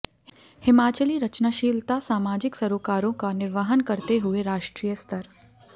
हिमाचली रचनाशीलता सामाजिक सरोकारों का निर्वहन करते हुए राष्ट्रीय स्तर